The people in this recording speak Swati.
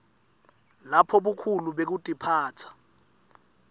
lapho bukhulu bekutiphatsa